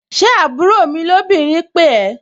Ṣé àbúrò mi lóbìnrin pè ẹ́?